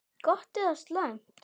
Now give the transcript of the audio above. Gott eða slæmt?